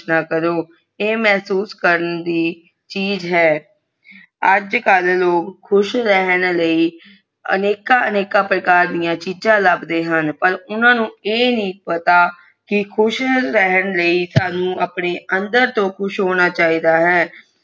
ਖੁਸ਼ ਰਹਿਣੇ ਲੀਯੇ ਅਨਿਕ ਅਨਿਕ ਪ੍ਰਕਾਰ ਦੀਆ ਚੀਜ਼ ਲਾਂਬੜਾ ਆਹ ਪਾਰ ਊਨਾ ਨੂੰ ਆ ਨਹੀਂ ਪਤਾ ਕਿ ਖੁਸ਼ ਰਹਿਣੇ ਸਾਨੂ ਆਪਣੇ ਅੰਦਰ ਕੁਸ਼ ਹੋਣਾ ਚਾਹੀਦਾ ਹੈ